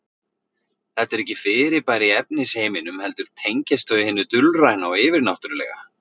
Þetta eru ekki fyrirbæri í efnisheiminum heldur tengjast þau hinu dulræna og yfirnáttúrulega.